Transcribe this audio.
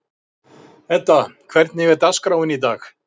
Edda, hvernig er dagskráin í dag?